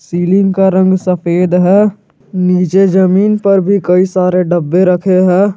Ceiling का रंग सफेद है नीचे जमीन पर भी कई सारे डब्बे रखे हैं।